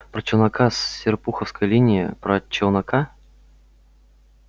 про челнока с серпуховской линии про челнока